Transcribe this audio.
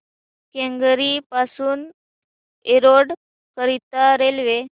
केंगेरी पासून एरोड करीता रेल्वे